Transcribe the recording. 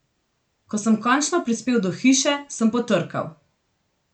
Ko sem končno prispel do hiše, sem potrkal.